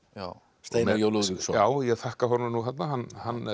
Steinar j Lúðvíksson ég þakka honum þarna hann hann